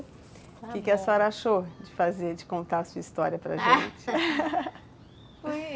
O que a senhora achou de fazer, de contar a sua história para a gente?